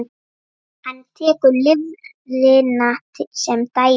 Hann tekur lifrina sem dæmi.